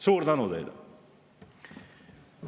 Suur tänu teile!